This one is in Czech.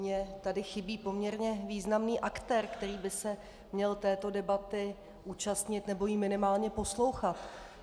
Mně tady chybí poměrně významný aktér, který by se měl této debaty účastnit nebo ji minimálně poslouchat.